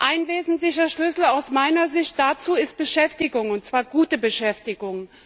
Ein wesentlicher Schlüssel aus meiner Sicht dazu ist Beschäftigung, und zwar gute Beschäftigung.